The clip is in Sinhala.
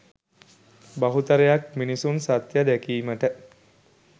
බහුතරයක් මිනිසුන් සත්‍ය දැකීමට